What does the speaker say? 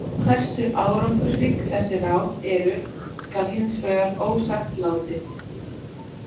Hversu árangursrík þessi ráð eru skal hins vegar ósagt látið.